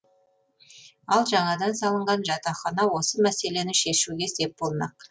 ал жаңадан салынған жатақхана осы мәселені шешуге сеп болмақ